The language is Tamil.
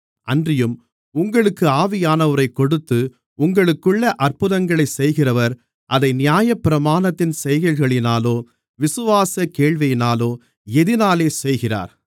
அன்றியும் உங்களுக்கு ஆவியானவரைக் கொடுத்து உங்களுக்குள்ளே அற்புதங்களைச் செய்கிறவர் அதை நியாயப்பிரமாணத்தின் செய்கைகளினாலோ விசுவாசக் கேள்வியினாலோ எதினாலே செய்கிறார்